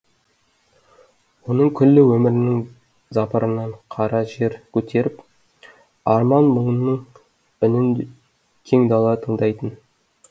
оның күллі өмірінің запыранын қара жер көтеріп арман мұңының үнін кең дала тыңдайтын